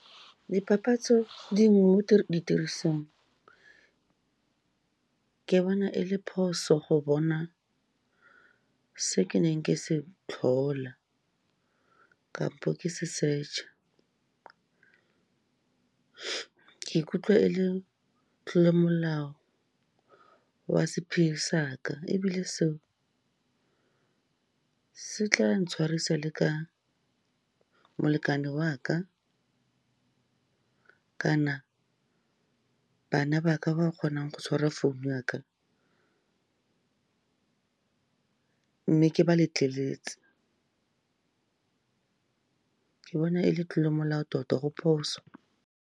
Dipapatso dingwe mo ditirisong, ke bona e le phoso go bona se ke neng ke se tlhola, kampo ke se search-a. Ke ikutlwa e le tlolomolao wa sephiri saka, ebile seo se tlang tshwarisa le ka molekane waka kana bana baka, ba kgonang go tshwara phone-u ya ka, mme ke ba letleletse, ke bona e le tlolomolao tota, go phoso.